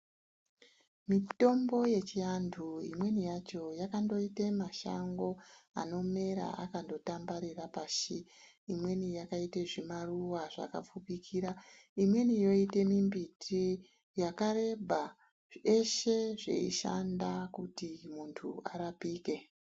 Mitombo yechiantu imweni yacho yakandoite mashango anondomera akandotambarara pashi. Imweni yakaite zvimaruwa zvakapfupikira. Imweni yoite mimbiti yakareba, yeshe yeishanda kuti muntu arapike.